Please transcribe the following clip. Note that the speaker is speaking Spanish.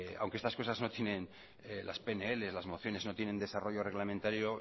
aunque estas cosas no tienen las pnl las mociones no tienen desarrollo reglamentario